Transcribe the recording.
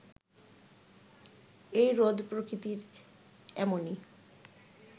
এই রোদ প্রকৃতির এমনই